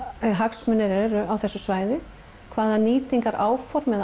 hagsmunir eru á þessu svæði hvaða nýtingaráform eða